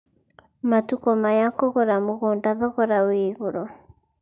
Matukũ maya kũgũra mũgũnda thogora wĩ igũrũ.